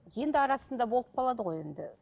енді арасында болып қалады ғой енді